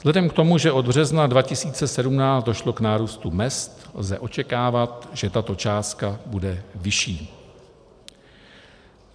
Vzhledem k tomu, že od března 2017 došlo k nárůstu mezd, lze očekávat, že tato částka bude vyšší.